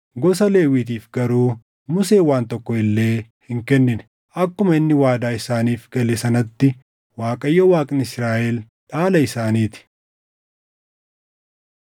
Gosa Lewwiitiif garuu Museen waan tokko illee hin kennine; akkuma inni waadaa isaaniif gale sanatti Waaqayyo Waaqni Israaʼel dhaala isaanii ti.